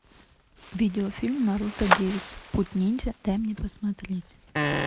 видеофильм наруто девять путь ниндзя дай мне посмотреть